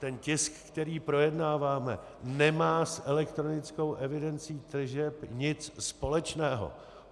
Ten tisk, který projednáváme, nemá s elektronickou evidencí tržeb nic společného.